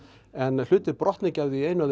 en hlutir brotna ekki af því einu af